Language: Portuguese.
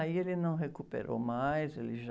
Aí ele não recuperou mais, ele já...